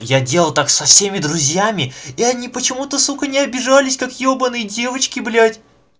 я делал так со всеми друзьями и они почему-то сука не обижались как ебанные девочки блять